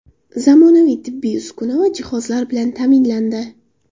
Zamonaviy tibbiy uskuna va jihozlar bilan ta’minlandi.